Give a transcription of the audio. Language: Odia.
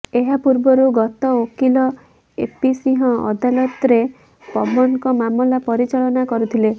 ଏହା ପୂର୍ବରୁ ଗତ ଓକିଲ ଏପି ସିଂହ ଅଦାଲତରେ ପବନଙ୍କ ମାମଲା ପରିଚାଳନା କରୁଥିଲେ